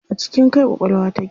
A cikin kai ƙwaƙwalwa take.